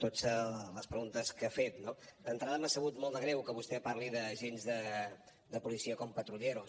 totes les preguntes que ha fet no d’entrada m’ha sabut molt de greu que vostè parli d’agents de policia com patrulleros